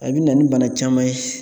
A bɛ na ni bana caman ye.